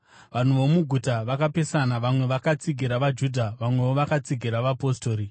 Vanhu vomuguta vakapesana; vamwe vakatsigira vaJudha, vamwewo vakatsigira vapostori.